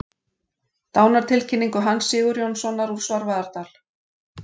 Dánartilkynningu Hans Sigurjónssonar úr Svarfaðardal.